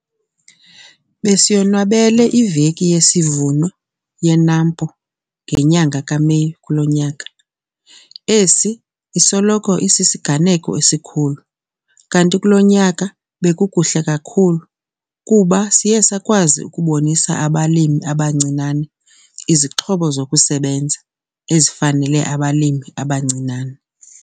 Besiyonwabele iVeki yesiVuno yeNAMPO ngenyanga kaMeyi kulo nyaka. Esi sisoloko sisisiganeko esikhulu kanti kulo nyaka bekukuhle kakhulu kuba siye sakwazi ukubonisa abalimi abancinane izixhobo zokusebenza ezifanele abalimi abancinane.